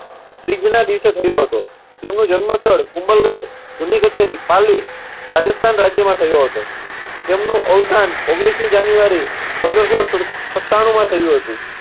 ત્રીજના દિવસે થયો હતો. તેમનું જન્મ સ્થળ કુંભલગઢ જૂની કચેરી રાજસ્થાન રાજ્યમાં થયો હતો. તેમનું અવસાન ઓગણીસમી જાન્યુઆરી પંદર સો સુડ~સત્તાણુંમાં થયું હતું.